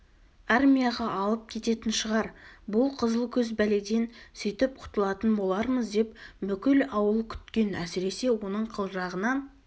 армияға алып кететін шығар бұл қызыл көз пәледен сөйтіп құтылатын болармыз деп бүкіл ауыл күткен әсіресе оның қылжағынан